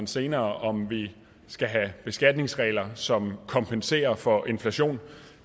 senere om vi skal have beskatningsregler som kompenserer for inflation